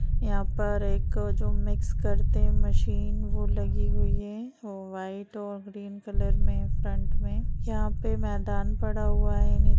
यहाँ पर एक जो मिक्स करते है मशीन वो लगी हुई है व्हाइट और ग्रीन कलर में फ्रंट में यहाँ पे मैदान पड़ा हुआ है नी --